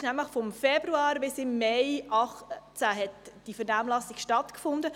Diese Vernehmlassung fand nämlich zwischen Februar und Mai 2018 statt.